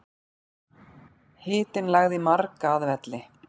Hitinn lagði marga að velli